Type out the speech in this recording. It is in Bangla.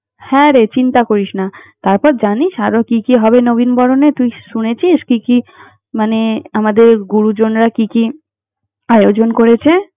হ্যাঁ রে, চিন্তা করিস না। তারপর জানিস আরও কি কি হবে নবীনবরণে! তুই শুনেছিস, কি কি মানে আমাদের গুরুজনরা কি কি আয়োজন করেছে?